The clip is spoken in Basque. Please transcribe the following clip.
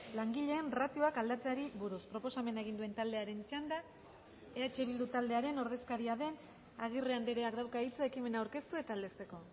langileen ratioak aldatzeari buruz proposamena egin duen taldearen txanda eh bildu taldearen ordezkaria den agirre andreak dauka hitza ekimena aurkeztu eta aldezteko